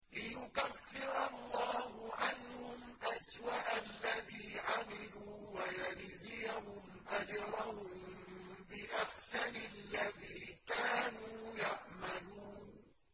لِيُكَفِّرَ اللَّهُ عَنْهُمْ أَسْوَأَ الَّذِي عَمِلُوا وَيَجْزِيَهُمْ أَجْرَهُم بِأَحْسَنِ الَّذِي كَانُوا يَعْمَلُونَ